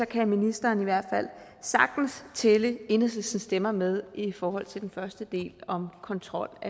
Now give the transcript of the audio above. kan ministeren i hvert fald sagtens tælle enhedslistens stemmer med i forhold til den første del om kontrol af